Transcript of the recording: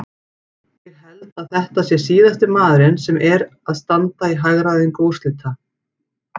Ég held að þetta sé síðasti maðurinn sem er að standa í hagræðingu úrslita.